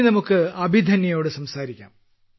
ഇനി നമുക്ക് അഭിധന്യയോട് സംസാരിക്കാം